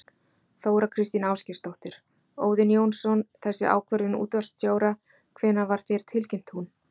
Þóra Kristín Ásgeirsdóttir: Óðinn Jónsson, þessi ákvörðun útvarpsstjóra, hvenær var þér tilkynnt hún?